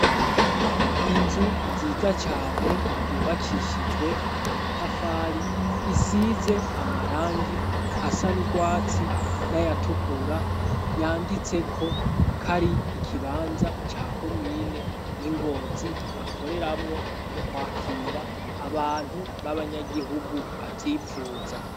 Inzu nziza cane yubakishijwe amatafari, isize amarangi asa n'urwatsi n'ayatukura, yanditseko ko ari ikibanza ca komine y'i Ngozi bakoreramwo mu kwakira abantu b'abanyagihugu bavyipfuza.